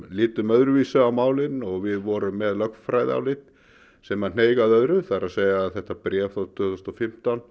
litum öðru vísi á málin og við vorum með lögfræðiálit sem hneig að öðru það er að þetta bréf frá tvö þúsund og fimmtán